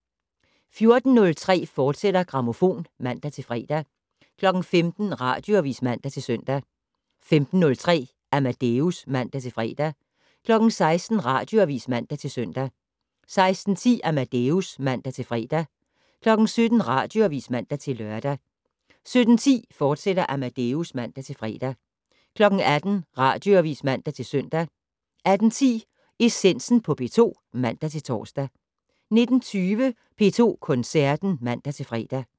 14:03: Grammofon, fortsat (man-fre) 15:00: Radioavis (man-søn) 15:03: Amadeus (man-fre) 16:00: Radioavis (man-søn) 16:10: Amadeus (man-fre) 17:00: Radioavis (man-lør) 17:10: Amadeus, fortsat (man-fre) 18:00: Radioavis (man-søn) 18:10: Essensen på P2 (man-tor) 19:20: P2 Koncerten (man-fre)